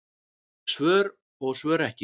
Svör og svör ekki.